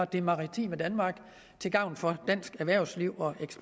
det maritime danmark til gavn for dansk erhvervsliv og